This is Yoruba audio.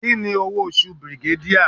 Kini owo osu brigadier?